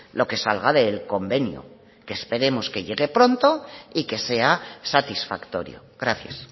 lo que salga del convenio que esperemos que llegue pronto y que sea satisfactorio gracias